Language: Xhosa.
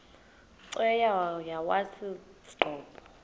cweya yawathi qobo